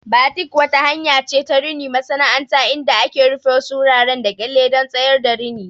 Batik wata hanya ce ta rini masana'anta inda aka rufe wasu wuraren da kyalle don tsayar da rini.